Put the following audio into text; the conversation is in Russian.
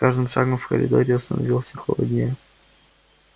с каждым шагом в коридоре становилось все холоднее